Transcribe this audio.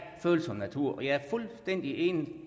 følsom natur jeg er fuldstændig enig